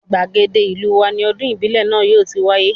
Gbàgede ìlú wa ni ọdún ìbílẹ̀ náà yóò ti wáyé